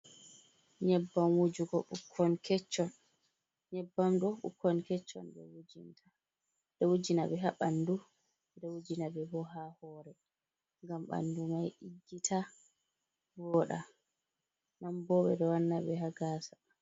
Nyebbam wujugo ɓikkon kecon, nyebbam ɗo ɓikkon kecon ɓeɗo wujinta, ɓeɗo wujinaɓe haɓandu ɓeɗo wujinaɓe bo ha hore, ngam ɓandu mai ɗiggita voɗa nan bo ɓeɗo wanna ɓe hagasa.